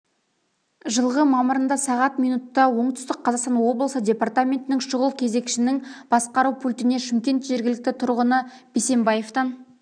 жылғы мамырында сағат минутта оңтүстік қазақстан облысы департаментінің шұғыл кезекшінің басқару пультіне шымкент жергілікті тұрғыны бисенбаевтан